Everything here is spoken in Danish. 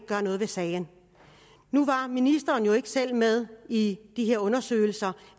gjort noget ved sagen nu var ministeren jo ikke selv med i de her undersøgelser